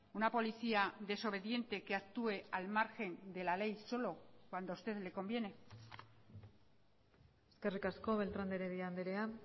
una policía desobediente que actúe al margen de la ley solo cuando usted le conviene eskerrik asko beltrán de heredia andrea